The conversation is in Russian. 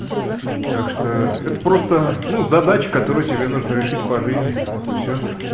так что это просто ну задача которую тебе нужно решить по жизни вот и всё